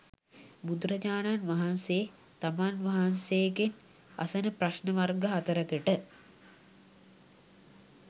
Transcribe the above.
බුදුරජාණන් වහන්සේ තමන් වහන්සේගෙන් අසන ප්‍රශ්න වර්ග හතරකට